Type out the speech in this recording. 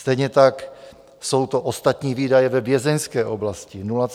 Stejně tak jsou to ostatní výdaje vězeňské oblasti, 0,551 miliardy.